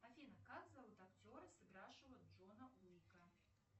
афина как зовут актера сыгравшего джона уика